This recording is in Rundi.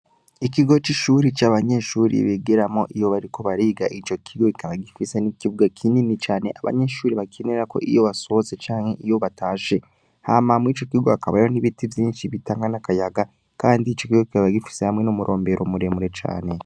Ikigo c'ishuri c'abanyeshuri bigeramo iyo bariko bariga ico kigo kikaba gifise n'ikibuga kinini cane abanyeshuri bakenera ko iyo basohoze canke iyo batashe hamamwe ico kiga akabayo n'ibiti vyinshi bitankan'akayaga, kandi ico kigo kikaba gifise hamwe n'umurombero muremure cane.